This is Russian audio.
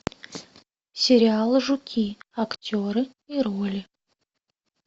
сериал жуки актеры и роли